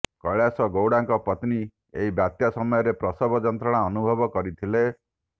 କୈଳାସ ଗୌଡଙ୍କ ପତ୍ନୀ ଏହି ବାତ୍ୟା ସମୟରେ ପ୍ରସବ ଯନ୍ତ୍ରଣା ଅନୁଭବ କରିଥିଲେ